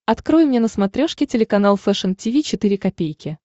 открой мне на смотрешке телеканал фэшн ти ви четыре ка